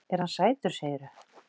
Er hann sætur, segirðu?